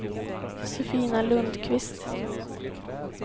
Josefina Lundqvist